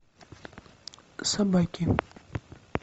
собаки